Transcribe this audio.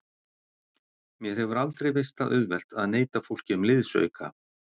Mér hefur aldrei veist það auðvelt að neita fólki um liðsauka.